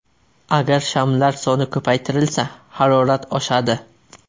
Agar shamlar soni ko‘paytirilsa, harorat oshadi.